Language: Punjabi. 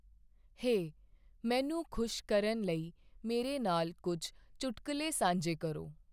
ਹੇ ਮੈਨੂੰ ਖੁਸ਼ ਕਰਨ ਲਈ ਮੇਰੇ ਨਾਲ ਕੁੱਝ ਚੁਟਕਲੇ ਸਾਂਝੇ ਕਰੋ।